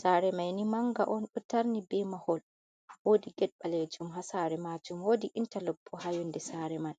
sare mai ni manga on do tarni be mahol wodi get balejum ha sare majum wodi intalok bo ha yonde sare man.